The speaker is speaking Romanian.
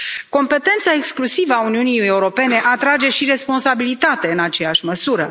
Competența exclusivă a Uniunii Europene atrage și responsabilitate, în aceeași măsură.